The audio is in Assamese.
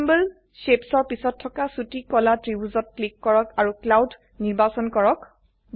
চিম্বল Shapes ৰ পিছত থকা ছোটি কলা ত্ৰিভুজত ক্লিক কৰক আৰু ক্লাউড নিৰ্বাচন কৰক